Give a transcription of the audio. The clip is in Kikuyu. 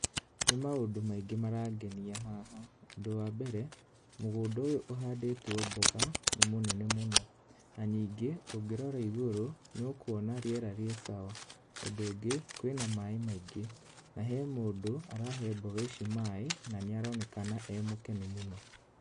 Nĩ maũndũ maingĩ marangenia haha. Ũndũ wa mbere mũgũnda ũyũ ũhandĩtwo mboga nĩ mũnene mũno, na ningĩ ũngũrora igũrũ nĩũkuona rĩera rĩ sawa. Ũndũ ũngĩ, kwĩna maĩ maingĩ, na he mũndũ arahe mboga ici maĩ na nĩaronekana e mũkenu mũno.